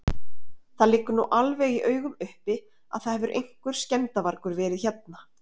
Það liggur nú alveg í augum uppi að það hefur einhver skemmdarvargur verið hérna.